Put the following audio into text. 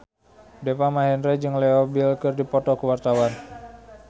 Deva Mahendra jeung Leo Bill keur dipoto ku wartawan